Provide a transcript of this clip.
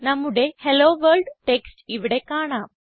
നമ്മുടെ hello world text ഇവിടെ കാണാം